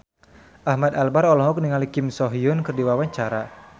Ahmad Albar olohok ningali Kim So Hyun keur diwawancara